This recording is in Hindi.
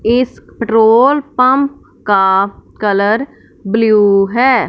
इस पेट्रोल पंप का कलर ब्लू है।